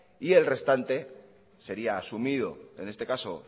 y el restante sería asumido en este caso